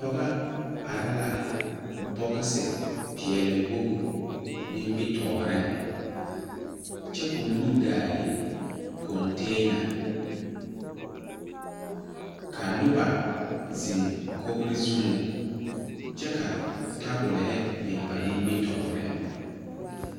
Pɔge are la bogisi peɛlewogi nimitɔɔreŋ kyɛ ka o nu gaa le kɔŋtɛɛna ka noba zeŋ kogri zuŋ kyɛ ka tabolihi biŋ ba nimitɔɔreŋ.